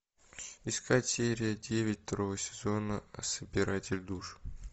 искать серия девять второго сезона собиратель душ